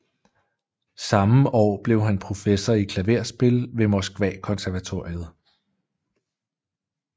Samme år blev han professor i klaverspil ved Moskvakonservatoriet